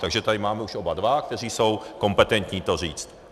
Takže tady máme už oba dva, kteří jsou kompetentní to říct.